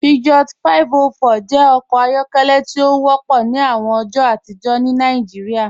Peugeot 504 jẹ ọkọ ayọkẹlẹ ti o wọpọ ni awọn ọjọ atijọ ni Nàìjíríà.